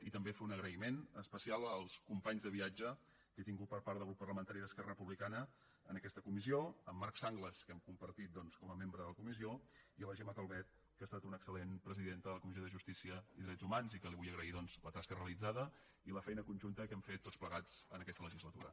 i també fer un agraïment especial als companys de viatge que he tingut per part del grup parlamentari d’esquerra republicana en aquesta comissió a en marc sanglas que hem compartit doncs com a membre la comissió i a la gemma calvet que ha estat una excellent presidenta de la comissió de justícia i drets humans i que li vull agrair doncs la tasca realitzada i la feina conjunta que hem fet tots plegats en aquesta legislatura